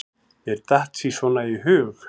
Mér datt sí svona í hug.